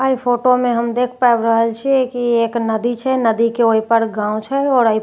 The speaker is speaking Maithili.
अई फोटो मे हम देख पाबि रहल छिय की ई एक नदी छे नदी के ओहि पार गांव छे और एहि पार रोड छे जेकि --